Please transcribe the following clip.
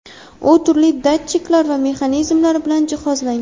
U turli datchiklar va mexanizmlar bilan jihozlangan.